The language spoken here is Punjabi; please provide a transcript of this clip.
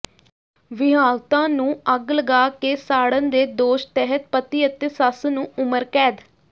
ਵਿਆਹੁਤਾ ਨੂੰ ਅੱਗ ਲਗਾ ਕੇ ਸਾੜਨ ਦੇ ਦੋਸ਼ ਤਹਿਤ ਪਤੀ ਅਤੇ ਸੱਸ ਨੂੰ ਉਮਰ ਕੈਦ